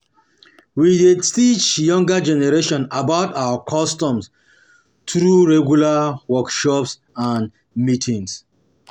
We dey teach younger generation about our customs through regular workshops and meetings.